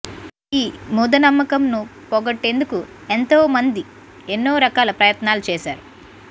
ఈ ముదనమ్మకం ను పోగొట్టేందుకు ఎంతో మండి ఎన్నో రకాల ప్రయత్నాలు చేశారు